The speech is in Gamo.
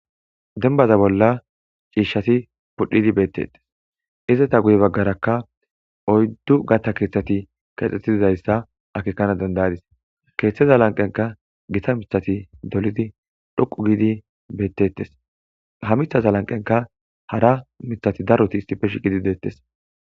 denbaza bolla ciishshati pudhidi beettettes izata guye baggarakka oyddu gatta keeththati kexxeti dizayssa akekana dandayadis keeththeza lanqenka gita mithati dolidi dhoqu giidi beettettes ha mithaza lanqenka hara mithati daroti istipe shiqidi deettes